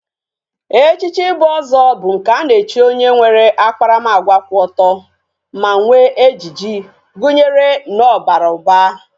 Echichi ibu ozo bu nke ana echi onye nwere akparamagwa kwu oto, ma nwe ejiji, gunyere na o bara uba